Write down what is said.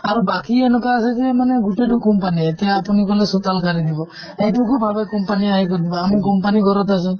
আৰু বাকী এনেকুৱা আছে যে মানে গোটেইতো company য়ে । এতিয়া আপুনি বোলে চোতাল সাৰি দিব । এইটো কো ভাৱে company আহি কৰি দিব । আমি company ঘৰত আছো